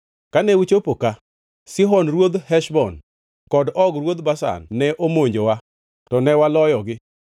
Kane uchopo ka, Sihon ruodh Heshbon kod Og ruodh Bashan ne omonjowa to ne waloyogi.